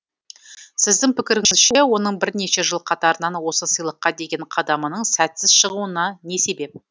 сіздің пікіріңізше оның бірнеше жыл қатарынан осы сыйлыққа деген қадамының сәтсіз шығуына не себеп